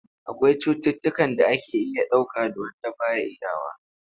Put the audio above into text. Akwai cututtukan da ake iya dauka da wand ba a iyawa.